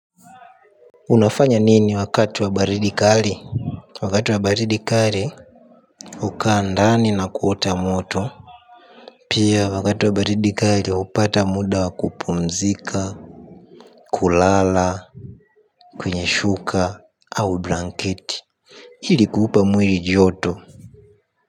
Unafanya nini wakati wa baridi kali. Wakati wa baridi kali hukaa ndani na kuota moto. Pia wakati wa baridi kali hupata muda wa kupumzika. Kulala kwenye shuka au blanketi. Hili kuupa mwiri joto.